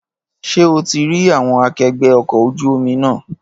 Ṣé o ti rí àwọn akẹgbẹ́ ọkọ̀ ojú omi náà?